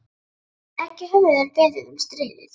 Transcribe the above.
Ekki höfðu þeir beðið um stríðið.